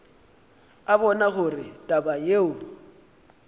a bona gore taba yeo